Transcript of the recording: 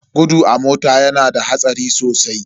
Gudu a mota yana da hatsari sosai.